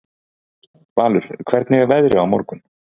Valur, hvernig er veðrið á morgun?